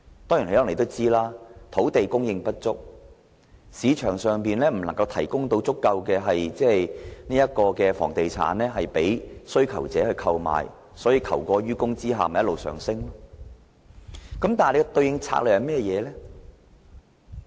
可能大家也知道，土地供應不足、市場上不能提供足夠的房屋供需求者購買，在求過於供下樓價便一直上升。